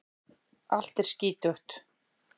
Allt er skítugt.